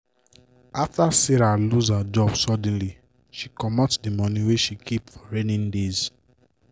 after sarah lose her job suddenly she commot d money wey she keep for rainy days.